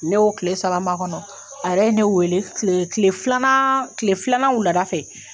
Ne'o kile saba makɔnɔ, a yɛrɛ ye ne wele kile kile filanan kile filanan wulada fɛ.